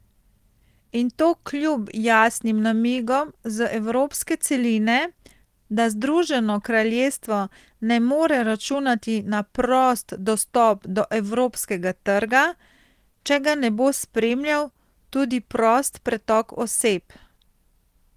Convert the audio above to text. In to kljub jasnim namigom z evropske celine, da Združeno kraljestvo ne more računati na prost dostop do evropskega trga, če ga ne bo spremljal tudi prost pretok oseb.